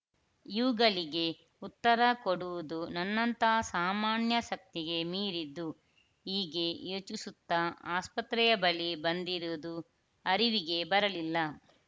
ಇವುಗಳಿಗೆ ಉತ್ತರ ಕೊಡುವುದು ನನ್ನಂತಹ ಸಾಮಾನ್ಯ ಶಕ್ತಿಗೆ ಮೀರಿದ್ದು ಹೀಗೆ ಯೋಚಿಸುತ್ತಾ ಆಸ್ಪತ್ರೆಯ ಬಳಿ ಬಂದಿರುವುದು ಅರಿವಿಗೆ ಬರಲಿಲ್ಲ